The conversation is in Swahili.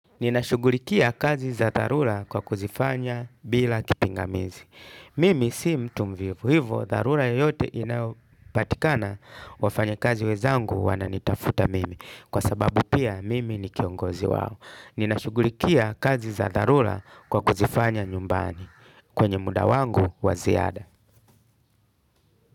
Ninashughulikia kazi za dharura kwa kuzifanya bila kipingamizi. Mimi si mtu mvivu hivyo dharura yoyote inayopatikana wafanyikazi wenzangu wananitafuta mimi kwa sababu pia mimi ni kiongozi wao. Ninashughulikia kazi za dharura kwa kuzifanya nyumbani kwenye muda wangu wa ziada.